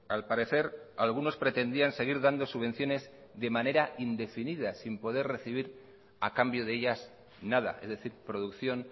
al parecer algunos pretendían seguir dando subvenciones de manera indefinida sin poder recibir a cambio de ellas nada es decir producción